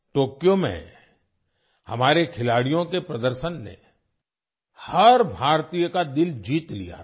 Tokyo में हमारे खिलाड़ियों के प्रदर्शन ने हर भारतीय का दिल जीत लिया था